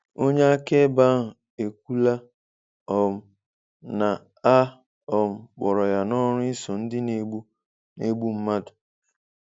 Onye akaebe ahu ekwụla um na a um kpọrọ ya n'ọrụ iso ndi na egbu na egbu madu